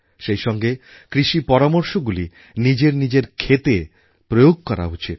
সেই সঙ্গে কৃষি পরামর্শগুলি নিজের নিজের ক্ষেতে প্রয়োগ করা উচিৎ